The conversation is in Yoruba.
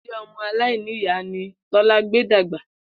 Ilé o̩mo̩-aláìníyàá ni Tó̩lá gbé dàgbà